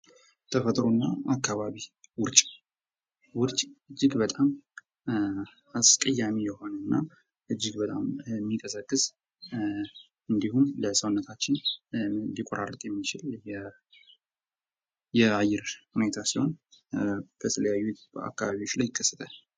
ተፈጥሮና አካባቢ ውርጭ ውርጭ እጅግ በጣም አስቀያሚ የሆነ እና እጅግ በጣም የሚንቀዘቅዝ፤ እንዲሁም ለሰውነታችን ሊቋራርጥ የሚችል የአየር ሁኔታ ሲሆን በተለያዩ አካባቢዎች ላይ ይከሰታል።